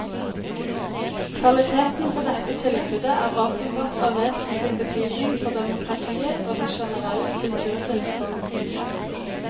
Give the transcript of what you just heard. Kvaliteten på dette tilbudet er åpenbart av vesentlig betydning for demokratiet og den generelle kulturtilstanden.